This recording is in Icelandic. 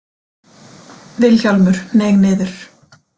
Vilhjálmur hneig niður.